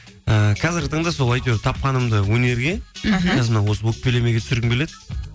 ііі қазіргі таңда сол әйтеуір тапқанымды өнерге өкпелемеге түсіргім келеді